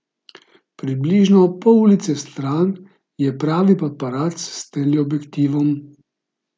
Približno pol ulice stran je pravi paparac s teleobjektivom.